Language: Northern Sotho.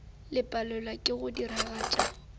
le palelwa ke go diragatša